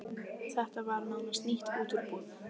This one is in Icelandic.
Þetta var nánast nýtt út úr búð.